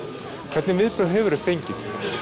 hvernig viðbrögð hefurðu fengið